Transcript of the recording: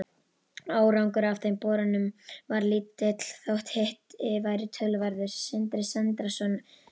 Árangur af þeim borunum varð lítill þótt hiti væri töluverður.